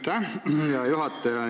Aitäh, hea juhtaja!